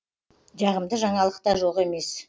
жағымды жаңалық та жоқ емес